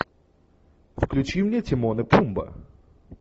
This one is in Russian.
включи мне тимон и пумба